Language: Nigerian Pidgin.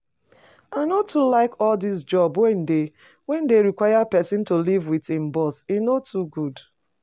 I no too like all dis job wey dey dey require person to live with im boss, e no too good